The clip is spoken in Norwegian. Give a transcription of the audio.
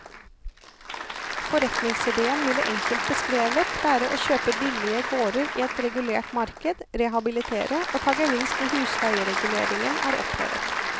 Forretningsidéen vil enkelt beskrevet være å kjøpe billige gårder i et regulert marked, rehabilitere og ta gevinst når husleiereguleringen er opphevet.